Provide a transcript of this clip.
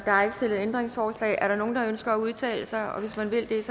stillet ændringsforslag er der nogen der ønsker at udtale sig og hvis man vil det er